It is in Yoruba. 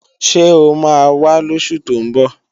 Ṣé ó máa wá lósù tó ń bọ̀?